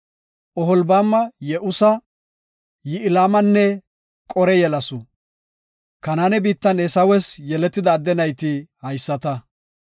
Oholbaama Ye7usa, Ya7ilamanne Qore yelasu. Kanaane biittan Eesawes yeletida adde nayti haysata.